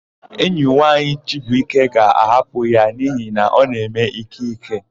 Enyi nwaanyị Chibuike ga-ahapụ ya n'ihi na ọ na-eme ìké ìké.